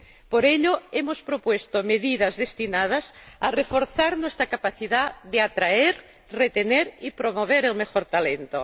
Por ello, hemos propuesto medidas destinadas a reforzar nuestra capacidad de atraer, retener y promover el mejor talento.